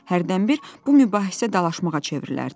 Hərdən bir bu mübahisə dalaşmağa çevrilərdi.